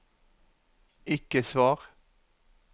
ikke svar